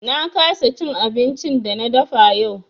Na kasa cin abincin da na dafa yau.